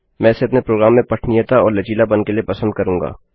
मैं इसे अपने प्रोग्राम में पठनीयता और लचीलापन के लिए पसंद करूँगा